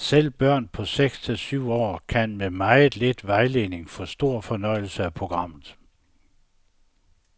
Selv børn på seks til syv år kan med meget lidt vejledning få stor fornøjelse af programmet.